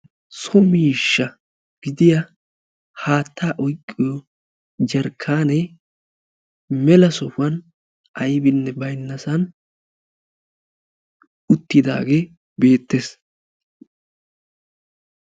So miishsha gidiya haattaa oyqqiyo jarkkaanne mela sohuwan aybbinne baynnassan uttiddaagee beettees.